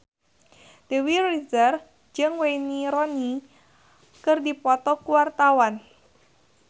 Dewi Rezer jeung Wayne Rooney keur dipoto ku wartawan